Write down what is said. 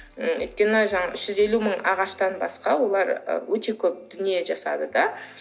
өйткені жаңағы үш жүз елу мың ағаштан басқа олар ы өте көп дүние жасады да